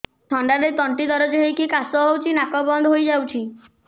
ଥଣ୍ଡାରେ ତଣ୍ଟି ଦରଜ ହେଇକି କାଶ ହଉଚି ନାକ ବନ୍ଦ ହୋଇଯାଉଛି